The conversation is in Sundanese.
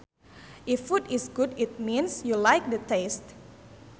If food is good it means you like the taste